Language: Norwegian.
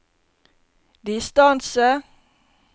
distance